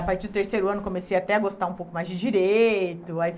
A partir do terceiro ano comecei até a gostar um pouco mais de direito. Aí